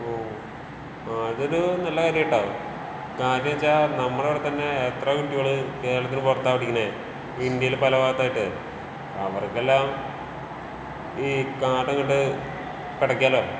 ഓഹ് അതൊരൂ നല്ല കാര്യാട്ടോ. കാരണെന്താച്ചാ നമ്മടെ ഇവിടെ തന്നേ എത്ര കുട്ട്യേള് കേരളത്തിന് പൊറത്താ പഠിക്കുന്നേ. ഇന്ത്യയില് പല ഭാഗത്തായിട്ട്.അവർക്കെല്ലാം ഈ കാർഡിങ്ങിട്ട് പെടക്കാലോ.